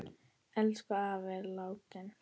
Elsku afi er látinn.